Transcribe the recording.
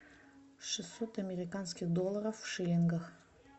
шестьсот американских долларов в шиллингах